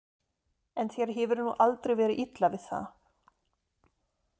En þér hefur nú aldrei verið illa við það.